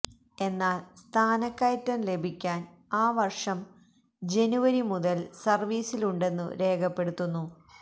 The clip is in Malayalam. എന്നാൽ സ്ഥാനക്കയറ്റം ലഭിക്കാൻ ആ വർഷം ജനുവരി മുതൽ സർവീസിലുണ്ടെന്നു രേഖപ്പെടുത്തുന്നു